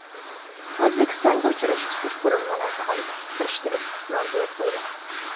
O‘zbekistonga uchuvchisiz qurilmalarni olib kirishda istisnoga yo‘l qo‘yiladi .